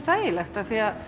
þægilegt